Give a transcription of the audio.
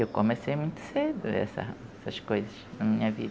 Eu comecei muito cedo essa essas coisas na minha vida.